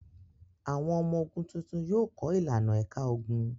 Àwọn ọmọ ogun tuntun yóò kọ́ ìlànà ẹ̀ka ogun.